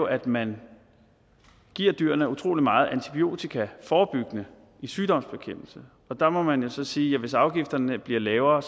at man giver dyrene utrolig meget antibiotika forebyggende i sygdomsbekæmpelse og der må man jo så sige at hvis afgifterne bliver lavere